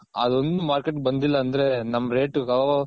ಅದೊಂದ್ Market ಬಂದಿಲ್ಲ ಅಂದ್ರೆ ನಮ್ಮಗ್